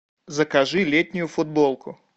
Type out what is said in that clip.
закажи летнюю футболку